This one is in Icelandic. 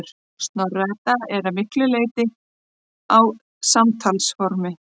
Snorra-Edda er að miklu leyti á samtalsformi.